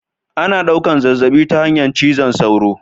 Ana ɗaukan zazzabi ta hanyar cizon sauro